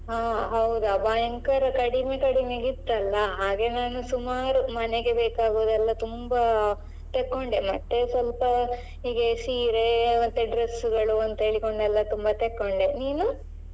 ಹಾ ಹೌದಾ ಭಯಂಕರ ಕಡಿಮೆ ಕಡಿಮೆಗಿತ್ತಲ್ಲ ಹಾಗೆ ನಾನು ಸುಮಾರು ಮನೆಗೆ ಬೇಕಾಗುದೆಲ್ಲ ತುಂಬಾ ತೆಕೊಂಡೆ ಮತ್ತೆ ಸ್ವಲ್ಪ ಹೀಗೆ ಸೀರೆ ಮತ್ತೆ dress ಗಳು ಅಂತ ಹೇಳಿಕೊಂಡೆಲ್ಲಾ ತುಂಬಾ ತೆಕೊಂಡೆ. ನೀನು?